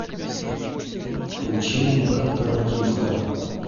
включи мне корпоративка